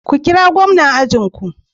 Ku kirani da gwamnan ajin ku.